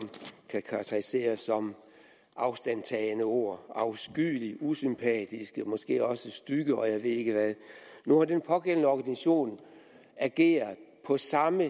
kan karakteriseres som afstandtagende ord afskyelig usympatisk måske også styg og jeg ved ikke hvad nu har den pågældende organisation ageret på samme